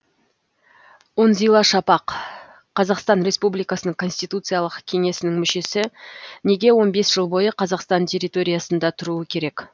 үнзила шапақ қазақстан республикасының конституциялық кеңесінің мүшесі неге он бес жыл бойы қазақстан территориясында тұруы керек